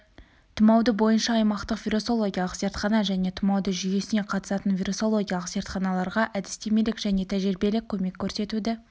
тұмауды бойынша аймақтық вирусологиялық зертхана және тұмауды жүйесіне қатысатын вирусологиялық зертханаларға әдістемелік және тәжірибелік көмек көрсетуді